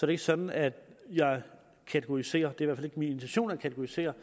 det ikke sådan at jeg kategoriserer det er fald ikke min intention at kategorisere